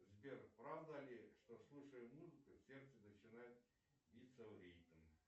сбер правда ли что слушая музыку сердце начинает биться в ритм